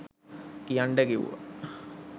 කියන්ඩ කිව්වා.